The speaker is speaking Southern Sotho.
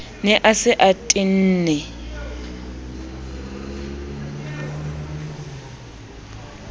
ne a se a tenne